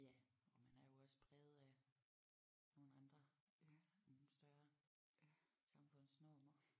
Ja og man er jo også præget af nogle andre nogle større samfundsnormer